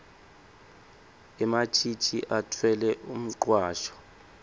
ematjitji atfwele umcwasho